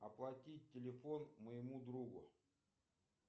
оплатить телефон моему другу